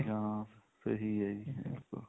ਹਾਂ ਸਹੀ ਹੈ ਜੀ ਬਿਲਕੁਲ